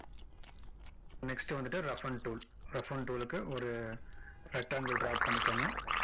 next வந்துட்டு roughen tool roughen tool க்கு ஒரு rectangle draw பண்ணிக்கோங்க